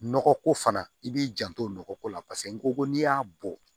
Nɔgɔ ko fana i b'i janto nɔgɔko la paseke n ko n'i y'a bɔ